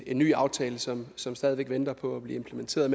en ny aftale som som stadig væk venter på at blive implementeret